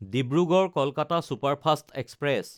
Dibrugarh-Kolkata superfast express